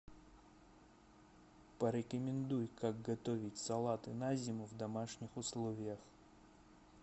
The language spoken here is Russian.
порекомендуй как готовить салаты на зиму в домашних условиях